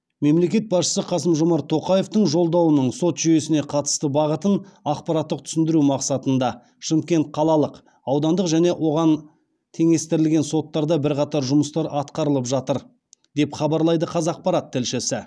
мемлекет басшысы қасым жомарт тоқаевтың жолдауының сот жүйесіне қатысты бағытын ақпараттық түсіндіру мақсатында шымкент қалалық аудандық және оған теңестірілген соттарда бірқатар жұмыстар атқарылып жатыр деп хабарлайды қазақпарат тілшісі